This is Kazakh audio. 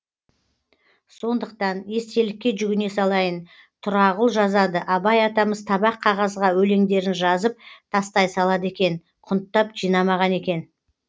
сондықтан естелікке жүгіне салайын тұрағұл жазады абай атамыз табақ қағазға өлеңдерін жазып тастай салады екен құнттап жинамаған екен